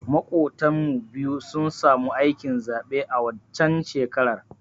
Maƙotan mu biyu sun samu aikin zaɓe a waccan shekarar